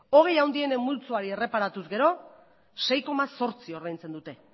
hogei handienen multzoa erreparatuz gero sei koma zortzi ordaintzen dute